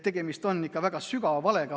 Tegemist on ikka väga suure valega.